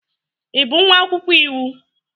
Ị bụ nwa akwụkwọ iwu